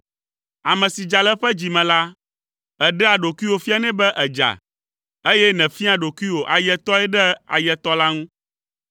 Ame si dza le eƒe dzi me la, èɖea ɖokuiwò fianɛ be èdza, eye nèfiaa ɖokuiwò ayetɔe ɖe ayetɔ la ŋu.